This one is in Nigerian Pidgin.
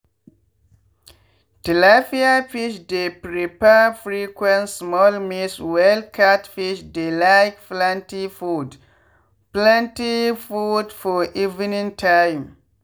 tilapia fish dey prefer frequent small meals while catfish dey like plenty food plenty food for evening time